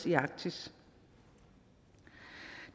i arktis